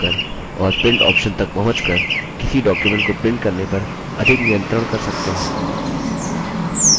आप default settings बदलकर और print option तक पहुँच कर किसी document को print करने पर अधिक नियत्रंण कर सकते हैं